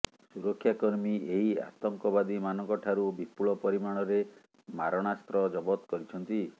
ସୁରକ୍ଷାକର୍ମୀ ଏହି ଆତଙ୍କବାଦୀ ମାନଙ୍କଠାରୁ ବିପୁଳ ପରିମାଣରେ ମାରଣାସ୍ତ୍ର ଜବତ କରିଛନ୍ତି